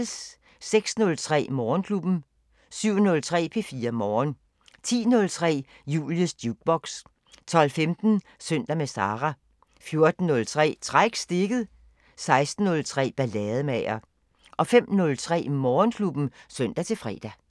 06:03: Morgenklubben 07:03: P4 Morgen 10:03: Julies Jukebox 12:15: Søndag med Sara 14:03: Træk stikket 16:03: Ballademager 05:03: Morgenklubben (søn-fre)